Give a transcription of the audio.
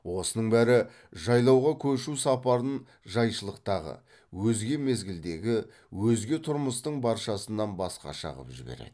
осының бәрі жайлауға көшу сапарын жайшылықтағы өзге мезгілдегі өзге тұрмыстың баршасынан басқаша қып жібереді